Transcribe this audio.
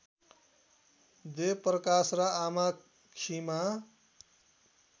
देवप्रकाश र आमा खिमा